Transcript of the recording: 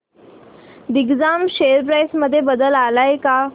Digjam share price मध्ये बदल आलाय का